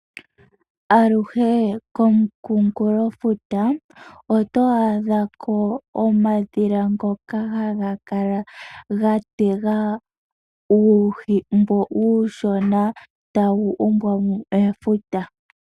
Aluhe komunkulofuta oto adha ko oondhila ndhoka hadhi kala dha tega uuhi mboka uushona tawu umbwa mo mefuta.